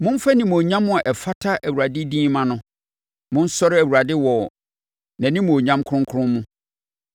Momfa animuonyam a ɛfata Awurade din mma no; monsɔre Awurade wɔ nʼanimuonyam kronkron mu.